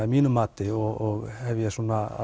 að mínu mati og ég hef